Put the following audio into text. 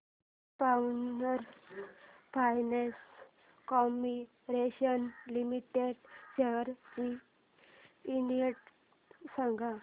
power finance corporation limited shares चा index सांगा